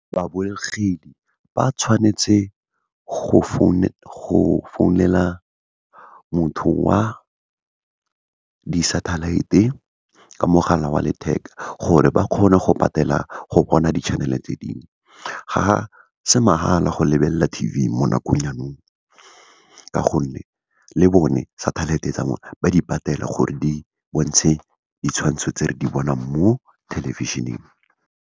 Babogedi, ba tshwanetse go founela motho wa di-satellite-e, ka mogala wa letheka, gore ba kgone go patela go bona di-channel-e tse dingwe. Ga se mahala go lebelela T_V mo nakong ya nou, ka gonne le bone satellite-e tsa bone, ba di patela gore di bontshe ditshwantsho tse re di bonang mo thelebišeneng.